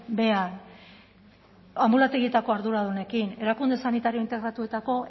behean anbulategietako arduradunekin erakunde sanitario integratuetako